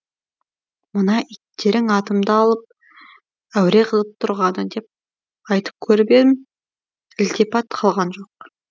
мына иттерің атымды алып әуре қылып тұрғаны деп айтып көріп едім ілтипат қылған жоқ